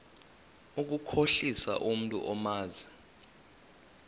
ukukhohlisa umntu omazi